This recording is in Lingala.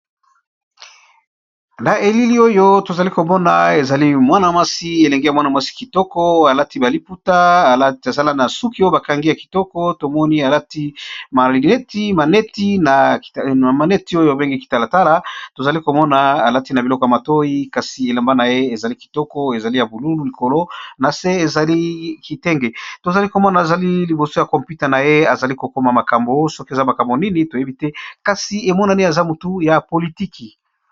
na elili oyo tozali komona ezali mwana mwasi elenge ya mwana mwasi kitoko alati baliputa aezala na suki o bakangi ya kitoko tomoni alati etina maneti oyo ebengi kitalatala tozali komona alati na biloko ya matoi kasi elamba na ye ezali kitoko ezali ya bululu likolo na se ezali kitenge tozali komona ezali liboso ya kompute na ye azali kokoma makambo soki eza makambo nini toyebi te kasi emonani aza motu ya politiki